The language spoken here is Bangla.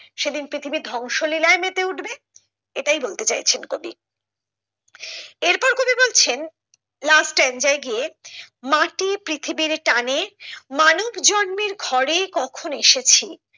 সেদিন পৃথিবী ধংস লীলায় মেতে উঠবে এটাই বলতে চাইছেন কবি এরপর কবি বলছেন last strange গিয়ে মাটি পৃথিবীর টানে মানুষ জন্মের ঘরে কখন এসেছি।